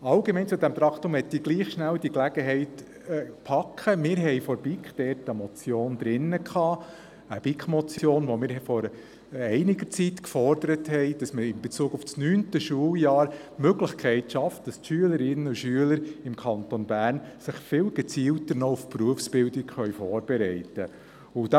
Allgemein zu diesem Traktandum möchte ich sagen, dass die BiK eine Motion eingereicht hat, mit der wir vor einiger Zeit forderten, dass man in Bezug auf das 9. Schuljahr Möglichkeiten schafft, damit sich die Schülerinnen und Schüler im Kanton Bern gezielter auf die Berufsbildung vorbereiten können.